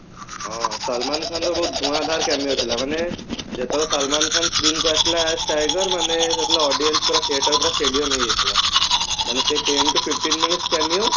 ହଁ ସଲମାନ ଖାନ ର ବହୁତ ଧୂଆଁ ଧର cameo ଥିଲା ମାନେ ଯେତେ ବେଳେ ସଲମାନ ଖାନ screen କୁ ଆସିଲା tiger ନହେଲେ ହେଇଥିଲା audience ପୁରା set ଟାକୁ ପୁରା stadium ହେଇଯାଇଥିଲା ମାନେ ସେ ten to fifteen minute cameo